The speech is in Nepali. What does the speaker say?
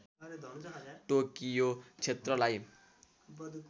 टोकियो क्षेत्रलाई